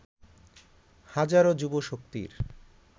হাজারো যুবশক্তির